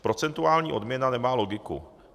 Procentuální odměna nemá logiku.